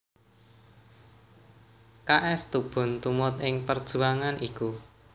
K S Tubun tumut ing perjuangan iku